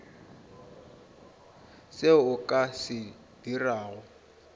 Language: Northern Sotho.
seo o ka se dirago